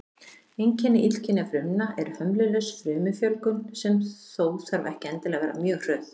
Einkenni illkynja frumna er hömlulaus frumufjölgun, sem þó þarf ekki endilega að vera mjög hröð.